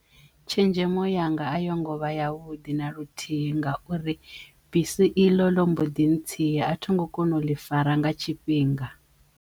Tshenzhemo yanga a yo ngo vha yavhuḓi na luthihi ngauri bisi iḽo ḽo mbo ḓi ntsiya a tho ngo kona u ḽi fara nga tshifhinga.